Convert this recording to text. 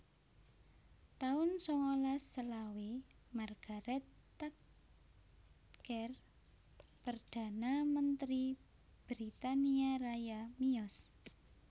taun sangalas selawe Margaret Thatcher Perdana Mentri Britania Raya miyos